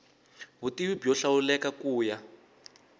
vutivi byo hlawuleka ku ya